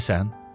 Dəlisən?